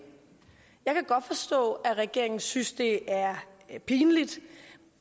jeg kan godt forstå at regeringen synes det er pinligt